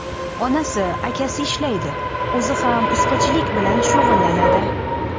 Onasi, akasi ishlaydi, o‘zi ham ustachilik bilan shug‘ullanadi.